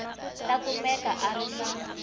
ta kumeka a ri na